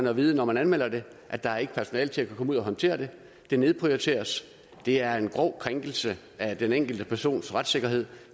at vide når man anmelder det at der ikke er personale til at komme ud og håndtere det det nedprioriteres det er en grov krænkelse af den enkelte persons retssikkerhed